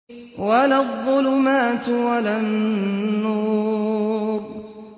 وَلَا الظُّلُمَاتُ وَلَا النُّورُ